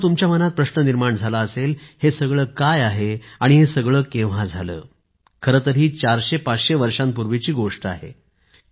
मित्रानो तुमच्या मनात प्रश्न निर्माण झाला असेल हे सगळं काय आहे आणि हे सगळं केव्हा झाले खरं तर ही चारशे पाचशे वर्षांपूर्वीची गोष्ट आहे